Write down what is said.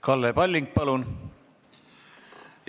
Kalle Palling, palun!